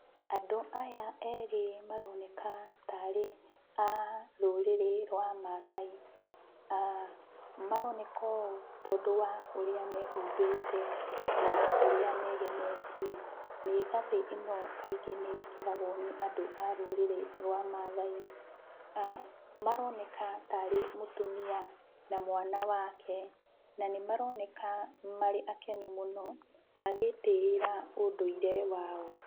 Andũ aya erĩ maroneka tarĩ a rũrĩrĩ rwa Maathai, maroneka ũũ tondũ wa ũrĩa mehumbĩte na ũrĩa megemetie. Mĩĩgathĩ ĩno kaingĩ nĩĩkĩragwo nĩ andũ a rũrĩrĩ rwa Maathai. Maroneka tarĩ mũtumia na mwana wake na nĩmaroneka marĩ akenu mũno magĩĩtĩĩra ũndũire wao